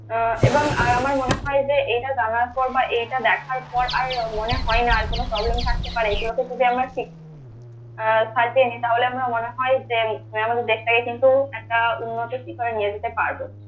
আহ এবং আর আমার মনে হয় যে এটা জানার পর বা এটা দেখার পর আর মনে হয় না আর কোন problem থাকতে পারে এগুলোকে যদি আমরা ঠিক আহ সাজিয়ে নি তাহলে আমার মনে হয় যে আমাদের দেশটাকে কিন্তু একটা উন্নতির শিখরে নিয়ে যেতে পারবো